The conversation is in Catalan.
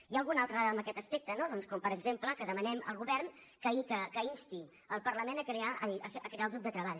hi ha alguna altra dada en aquest aspecte no doncs com per exemple que demanem al govern que insti el parlament a crear el grup de treball